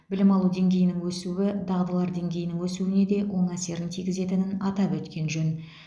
білім алу деңгейінің өсуі дағдылар деңгейінің өсуіне де оң әсерін тигізетінін атап өткен жөн